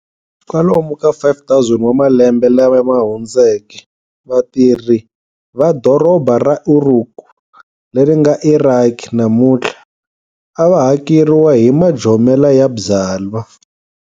Kwalomu ka 5000 wa malembe lamahundzeke, vatirhi va dorobha ra Uruk, Leringa Iraki namunthla, avahakeriwa hi majomela ya byala.